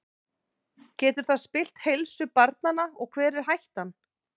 Getur það spillt heilsu barnanna og hver er hættan?